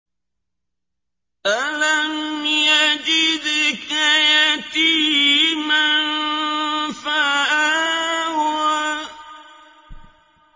أَلَمْ يَجِدْكَ يَتِيمًا فَآوَىٰ